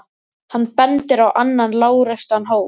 Hann bendir á annan lágreistan hól.